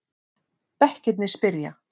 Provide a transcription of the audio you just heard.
Bekkirnir spyrja!